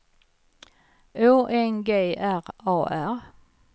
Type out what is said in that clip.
Å N G R A R